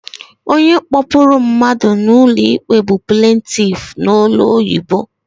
Onye kpọpụrụ mmadụ ụlọikpe bụ plentif n'olu ọyibo.